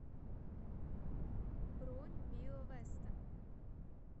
бронь био веста